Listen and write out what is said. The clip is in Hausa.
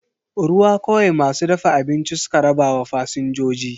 Ruwa kawai masu dafa abinci suka rabawa fasinjoji.